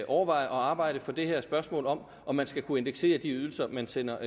overveje at arbejde for det her spørgsmål om om man skal kunne indeksere de ydelser man sender